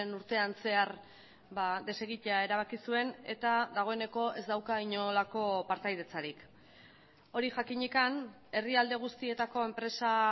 urtean zehar desegitea erabaki zuen eta dagoeneko ez dauka inolako partaidetzarik hori jakinik herrialde guztietako enpresa